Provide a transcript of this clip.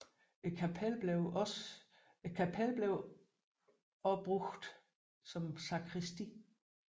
Kapellet blev også anvendt som sakristi